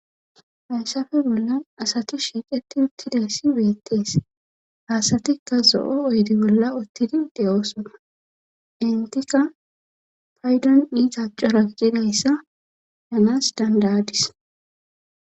Hayssafe bolla asati shiiqeti uttidayssi beettees hasatikka zo7o oydi bolla uttidi de7oosona intika paydon iita cora gidayssa yanas dandadis.